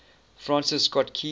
francis scott key